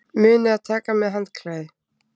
Munið að taka með handklæði!